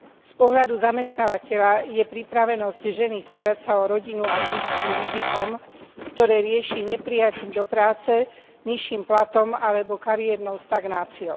Z pohľadu zamestnávateľa je pripravenosť ženy starať sa o rodinu a blízkych rizikom, ktoré rieši neprijatím do práce, nižším platom alebo kariérnou stagnáciou.